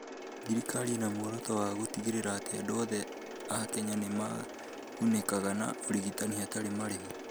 Thirikari ĩnamuoroto wa gũtigĩrĩra atĩ andũ othe a Kenya nĩ magunĩkaga nĩ ũrigitani hatarĩ marĩhi.